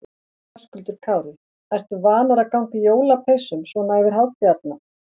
Höskuldur Kári: Ertu vanur að ganga í jólapeysum svona yfir hátíðarnar?